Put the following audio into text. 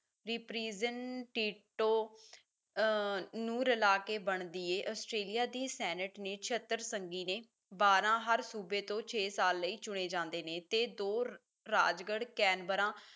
the prison tinto ਅਹ ਨੂੰ ਰਲਾ ਕੇ ਬਣਦੀ ਹੈ ਆਸਟ੍ਰੇਲੀਆ ਦੀ ਸੈਨਟ ਦੇ ਛੇਅੱਤਰ ਸੰਗੀ ਨੇ ਬਾਰਾਂ ਹਰ ਸੂਬੇ ਤੋਂ ਛੇ ਸਾਲ ਲਈ ਚੁਣੇ ਜਾਂਦੇ ਨੇ ਤੇ ਦੂਰ ਰਾਜਗੜ੍ਹ ਕੈਨਬਰਾ